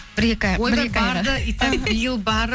бір екі ай итак биыл барып